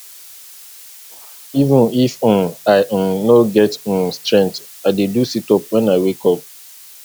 even if um i um no get um strength i dey do situp wen i wake up